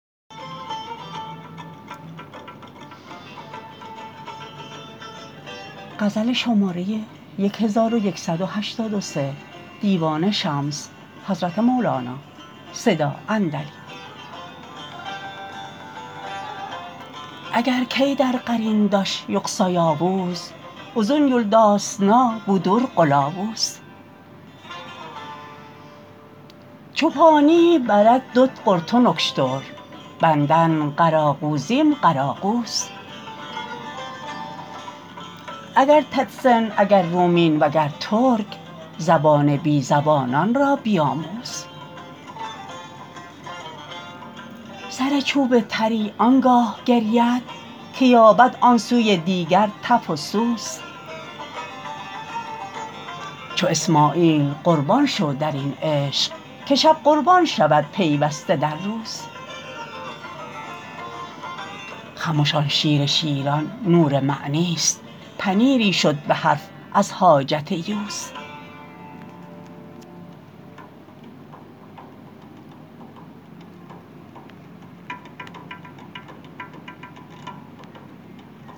اگر ییی دیر قارینداش یوخسا یاوز اوزون یولدا سنه بو در قلاوز چوبانی برک دوت قوردلار اوکوش دور اشیت بندن قراگوزیم قراگوز اگر ططسن اگر رومین وگر ترک زبان بی زبانان را بیاموز سر چوب تری آن گاه گرید که یابد آن سوی دیگر تف و سوز چو اسماعیل قربان شو در این عشق که شب قربان شود پیوسته در روز خمش آن شیر شیران نور معنیست پنیری شد به حرف از حاجت یوز